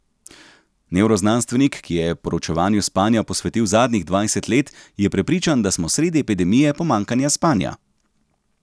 Nevroznanstvenik, ki je proučevanju spanja posvetil zadnjih dvajset let, je prepričan, da smo sredi epidemije pomanjkanja spanja.